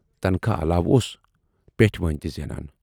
تنخواہ علاوٕ اوس پٮ۪ٹھۍوٲنۍ تہِ زینان۔